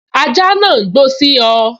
Ajá náà n gbó sí ọ